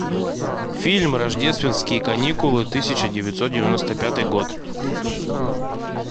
фильм рождественские каникулы тысяча девятьсот девяносто пятый год